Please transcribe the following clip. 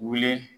Wuli